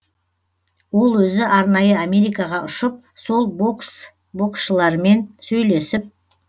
ол өзі арнайы америкаға ұшып сол бокс боксшылармен сөйлесіп